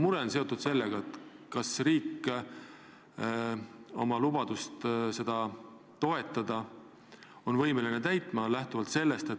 Olen mures, kas riik oma lubadust seda ettevõtmist toetada on ikka võimeline täitma.